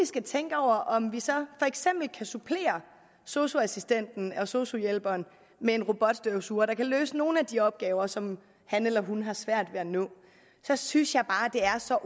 skal tænke over om vi så for eksempel kan supplere sosu assistenten og sosu hjælperen med en robotstøvsuger som kan løse nogle af de opgaver som han eller hun har svært ved at nå jeg synes bare det er så